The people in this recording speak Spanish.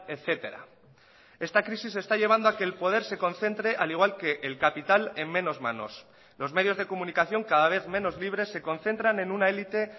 etcétera esta crisis está llevando a que el poder se concentre al igual que el capital en menos manos los medios de comunicación cada vez menos libres se concentran en una elite